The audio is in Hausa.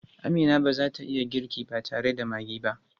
Amina ba za ta iya girki ba tare da maggi ba.